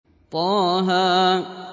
طه